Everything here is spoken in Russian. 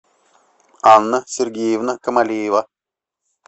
анна сергеевна камалиева